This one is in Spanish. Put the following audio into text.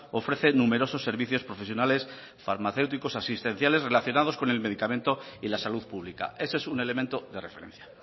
ofrece numerosos servicios profesionales farmacéuticos asistenciales relacionados con el medicamento y la salud pública ese es un elemento de referencia